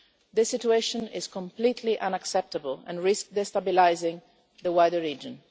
This situation is completely unacceptable and risks destabilising the wider region.